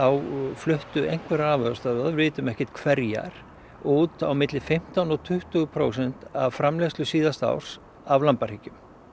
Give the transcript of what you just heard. fluttu einhverjar afurðastöðvar við vitum ekki hverjar út á milli fimmtán og tuttugu prósent af framleiðslu síðasta árs af lambahryggjum